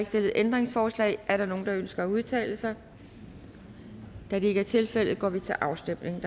stillet ændringsforslag er der nogen der ønsker at udtale sig da det ikke er tilfældet går vi til afstemning